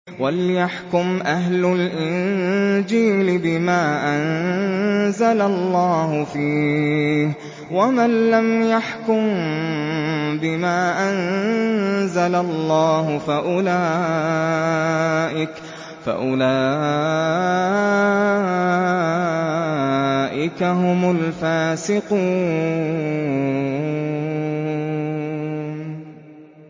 وَلْيَحْكُمْ أَهْلُ الْإِنجِيلِ بِمَا أَنزَلَ اللَّهُ فِيهِ ۚ وَمَن لَّمْ يَحْكُم بِمَا أَنزَلَ اللَّهُ فَأُولَٰئِكَ هُمُ الْفَاسِقُونَ